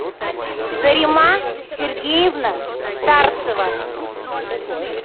зарима сергеевна старцева